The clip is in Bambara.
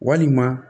Walima